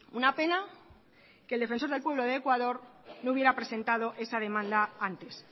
una pena que el defensor del pueblo de ecuador no hubiera presentado esa demanda antes